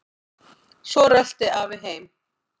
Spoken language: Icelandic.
Svo rölti afi heim.